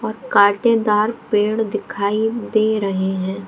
और कांटेदार पेड़ दिखाई दे रहे है।